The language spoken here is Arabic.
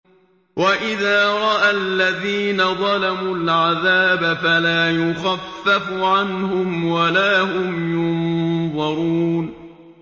وَإِذَا رَأَى الَّذِينَ ظَلَمُوا الْعَذَابَ فَلَا يُخَفَّفُ عَنْهُمْ وَلَا هُمْ يُنظَرُونَ